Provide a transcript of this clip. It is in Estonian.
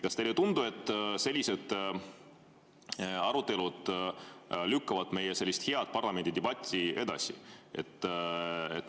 Kas teile ei tundu, et sellised arutelud lükkavad meie head parlamendidebatti edasi?